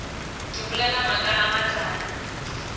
ke bolela maaka a matala